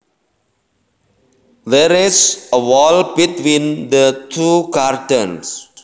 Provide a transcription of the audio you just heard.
There is a wall between the two gardens